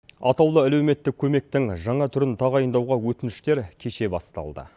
атаулы әлеуметтік көмектің жаңа түрін тағайындауға өтініштер кеше басталды